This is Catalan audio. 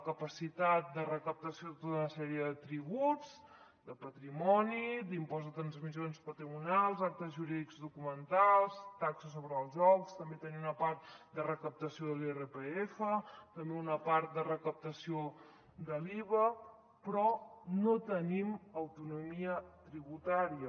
capacitat de recaptació de tota una sèrie de tributs de patrimoni d’impost de transmissions patrimonials actes jurídics documentats taxa sobre els jocs també tenim una part de recaptació de l’irpf també una part de recaptació de l’iva però no tenim autonomia tributària